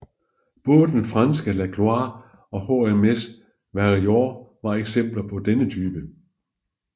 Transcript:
Både den franske La Gloire og HMS Warrior var eksempler på denne type